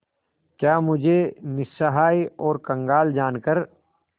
क्या मुझे निस्सहाय और कंगाल जानकर